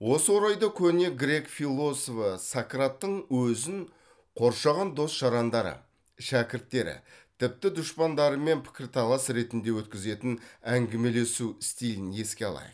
осы орайда көне грек философы сократтың өзін қоршаған дос жарандары шәкірттері тіпті дұшпандарымен пікірталас ретінде өткізетін әңгімелесу стилін еске алайық